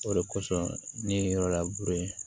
O de kosɔn ne ye yɔrɔ labure